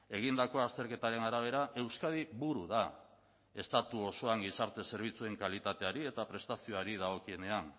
egindako azterketaren arabera euskadi buru da estatu osoan gizarte zerbitzuen kalitateari eta prestazioari dagokionean